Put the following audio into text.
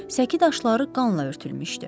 Səki daşları qanla örtülmüşdü.